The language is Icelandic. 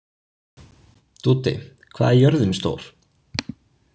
Dúddi, hvað er jörðin stór?